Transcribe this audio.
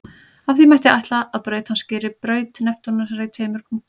Af því mætti ætla að braut hans skeri braut Neptúnusar í tveimur punktum.